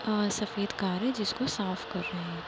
अ- सफ़ेद कार है जिसको साफ कर रहे हैं।